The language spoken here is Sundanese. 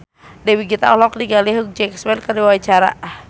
Dewi Gita olohok ningali Hugh Jackman keur diwawancara